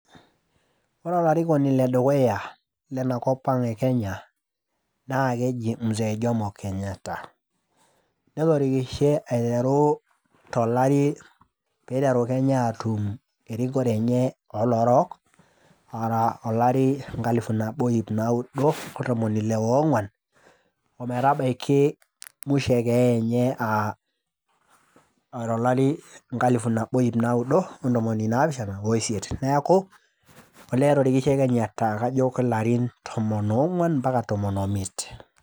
Ore olarikoni le dukuya lena kop ang e kenya naa keji mzee jomo kenyatta , netorikishe aiteru tolari piteru kenya atum erikore enye oloorok ara tolari loo nkalifuni iip naudo ontomoni ile oongwan ometabaiki mwisho e keeya enye aa tolari le nkalifu nabo oo iip naudo ontomoni naapishana oisiet. Niaku olee etorikishe kenyatta kajo kelarin tomon oongwan ompaka tomon omiet.